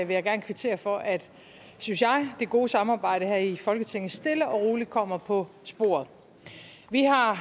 jeg gerne kvittere for at synes jeg det gode samarbejde her i folketinget stille og roligt kommer på sporet vi har